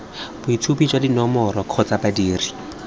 boitshupo jwa dinomoro kgotsa badiri